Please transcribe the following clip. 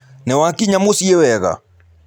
Nĩwakinya mũciĩ wega?